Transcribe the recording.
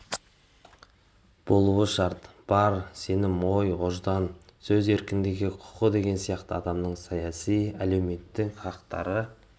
болу шарты бар сенім ой ождан сөз еркіндігі құқы деген сияқты адамның саяси әлеуметтік хақтары